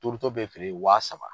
Turuto bɛ feere yen wa saba.